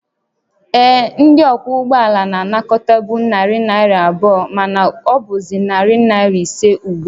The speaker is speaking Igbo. Ee, ndị ọkwọ ụgbọ ala na-anakọtabu narị naira abụọ, mana ọ bụzị narị naira ise ugbu a